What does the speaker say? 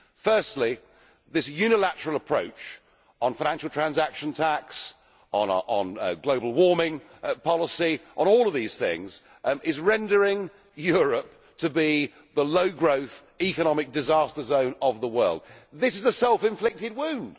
Firstly, this unilateral approach on financial transaction tax, on global warming policy, on all of these things, is rendering Europe the low growth economic disaster zone of the world. This is a self inflicted wound.